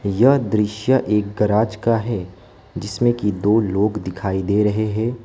यह दृश्य एक गराज का है जिसमें कि दो लोग दिखाई दे रहे हैं।